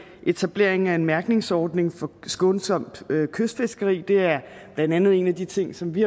etableringen af en mærkningsordning for skånsomt kystfiskeri og det er blandt andet en af de ting som vi